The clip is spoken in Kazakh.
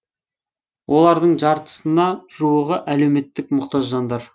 олардың жартысына жуығы әлеуметтік мұқтаж жандар